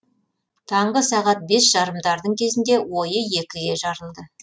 таңғы сағат бес жарымдардың кезінде ойы екіге жарылды